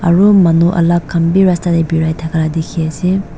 aru manu alak khan b rasta de birai thaka dikhi ase.